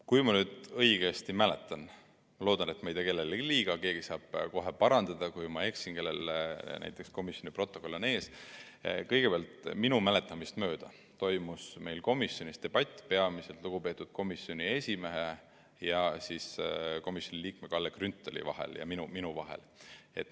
Kui ma nüüd õigesti mäletan – ma loodan, et ma ei tee kellelegi liiga, keegi saab mind kohe parandada, kui ma eksin, keegi, kellel näiteks komisjoni protokoll on ees –, siis kõigepealt, minu mäletamist mööda, toimus meil komisjonis debatt peamiselt lugupeetud komisjoni esimehe, komisjoni liikme Kalle Grünthali ja minu vahel.